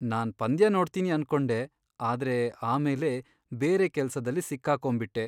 ನಾನ್ ಪಂದ್ಯ ನೋಡ್ತೀನಿ ಅನ್ಕೊಂಡೆ ಆದ್ರೆ ಆಮೇಲೆ ಬೇರೆ ಕೆಲ್ಸದಲ್ಲಿ ಸಿಕ್ಕಾಕೊಂಬಿಟ್ಟೆ.